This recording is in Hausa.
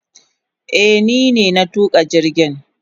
Eh ni ne na tuka jirgin.